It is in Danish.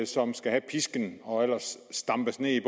som skal have pisken og ellers stampes ned